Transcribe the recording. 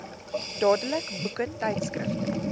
dadelik boeke tydskrifte